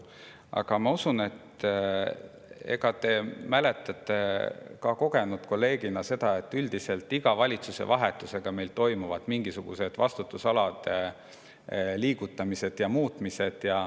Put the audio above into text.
Aga ma usun, et te mäletate kogenud kolleegina, et üldiselt iga valitsusevahetusega meil toimub mingisugune vastutusalade liigutamine ja muutmine.